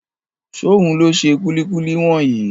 Ṣóhun ló ṣe kúlíkúlí wọ̀nyí?